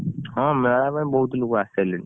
ହଁ ମେଳା ପାଇଁ ବହୁତ ଲୋକ ଆସିସରିଲେଣି।